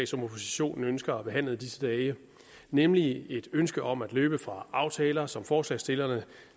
som oppositionen ønsker at behandle i disse dage nemlig et ønske om at løbe fra aftaler som forslagsstillerne